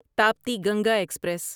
Tapti Ganga express